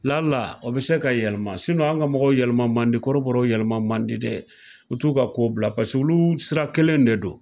o bi se ka yɛlɛma an ga mɔgɔ yɛlɛma man di kɔrɔbɔrɔw yɛlɛma man di dɛ, u t'u ka kow bila paseke olu sira kelen de don